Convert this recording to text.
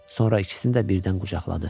Sonra ikisini də birdən qucaqladı.